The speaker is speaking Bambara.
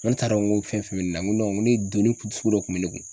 N ko ne t'a dɔn ko fɛn fɛn bɛ ne na ko ko ne donni kun sugu dɔ kun bɛ ne kun